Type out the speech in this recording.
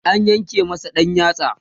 an yanke masa ɗan yatsa